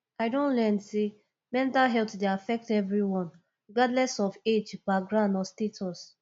i don learn say mental health dey affect everyone regardless of age background or status